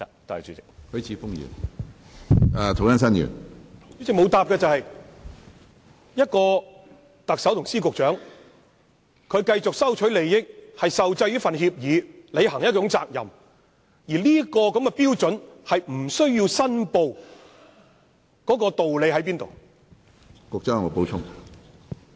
主席，局長沒有回答的是，特首及司局長繼續收取利益，並受制於協約而要履行責任，但現時的標準是，他們不需要申報，當中的道理何在？